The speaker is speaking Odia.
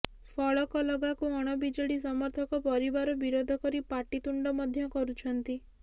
ଫଳକ ଲଗାକୁ ଅଣବିଜେଡି ସମର୍ଥକ ପରିବାର ବିରୋଧ କରି ପାଟିତୁଣ୍ଡ ମଧ୍ୟ କରୁଛନ୍ତି